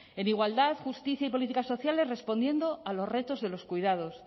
en igualdad justicia y políticas sociales respondiendo a los retos de los cuidados